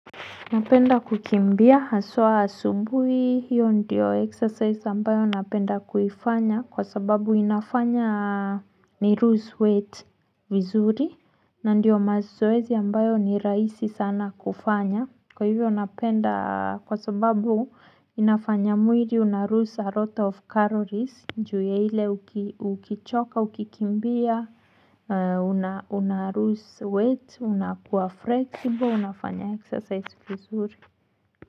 Napenda kukimbia, haswa asubuhi, hiyo ndiyo exercise ambayo napenda kufanya kwa sababu inafanya nilose weight vizuri na ndio mazoezi ambayo ni rahisi sana kufanya. Kwa hivyo napenda kwa sababu, inafanya mwili unalose a lot of calories, juu ya hile ukichoka, ukikimbia, unalose weight, unakuwa flexible, unafanya exercise kuzuri.